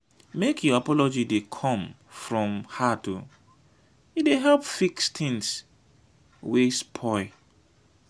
make your apology dey come from heart o e dey help fix tins wey spoil.